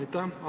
Aitäh!